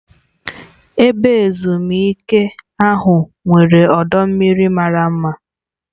Ebe ezumike ahụ nwere ọdọ mmiri mara mma.